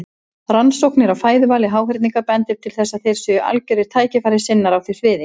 Rannsóknir á fæðuvali háhyrninga bendir til að þeir séu algjörir tækifærissinnar á því sviði.